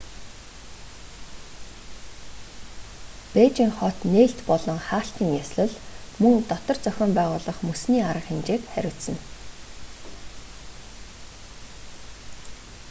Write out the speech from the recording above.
бээжин хот нээлт болон хаалтын ёслол мөн дотор зохион байгуулах мөсний арга хэмжээг хариуцна